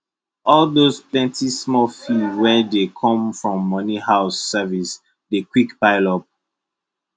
all those plentysmall fee wey dey come from money house service dey quick pile up